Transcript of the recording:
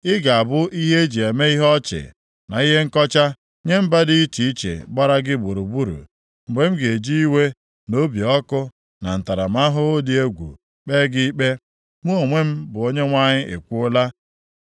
Ị ga-abụ ihe e ji eme ihe ọchị na ihe nkọcha nye mba dị iche iche gbara gị gburugburu, mgbe m ga-eji iwe na obi ọkụ na ntaramahụhụ dị egwu kpee gị ikpe, mụ onwe m bụ Onyenwe anyị ekwuola.